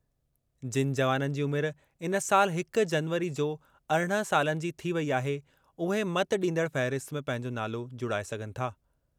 जिनि जवाननि जी उमिरि इन साल हिक जनवरी जो अरिड़हं सालनि जी थी वेई आहे, उहे मतॾींदड़ फ़हिरिस्त में पंहिंजो नालो जुड़ाए सघनि था।